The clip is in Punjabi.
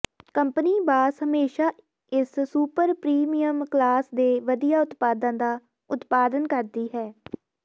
ਕੰਪਨੀ ਬਾਸ ਹਮੇਸ਼ਾ ਇਸ ਸੁਪਰ ਪ੍ਰੀਮੀਅਮ ਕਲਾਸ ਦੇ ਵਧੀਆ ਉਤਪਾਦਾਂ ਦਾ ਉਤਪਾਦਨ ਕਰਦੀ ਹੈ